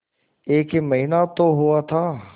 एक ही महीना तो हुआ था